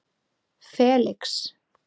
Felix